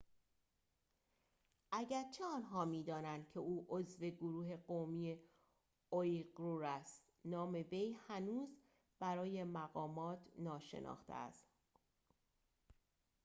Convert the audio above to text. اگرچه آنها می‌دانند که او عضو گروه قومی اویغور است نام وی هنوز برای مقامات ناشناخته است